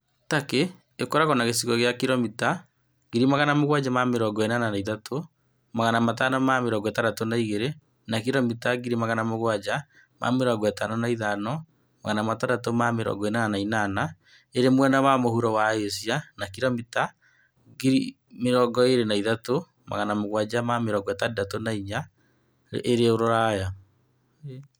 Turkey ĩkoragwo na gĩcigo kĩa kiromita 783,562 (300,948 sq mi), na kiromita 755,688 (291,773 sq mi) irĩ mwena wa mũhuro wa Asia na kiromita 23,764 (9,174 sq mi) irĩ Rũraya.